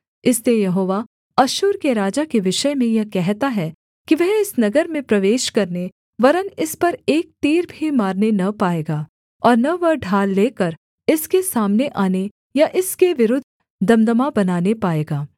इसलिए यहोवा अश्शूर के राजा के विषय में यह कहता है कि वह इस नगर में प्रवेश करने वरन् इस पर एक तीर भी मारने न पाएगा और न वह ढाल लेकर इसके सामने आने या इसके विरुद्ध दमदमा बनाने पाएगा